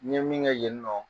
N ye min kɛ yen nɔ